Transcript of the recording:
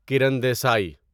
Karan Desai